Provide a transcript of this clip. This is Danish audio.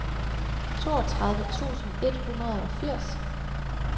toogtredive tusind et hundrede og firs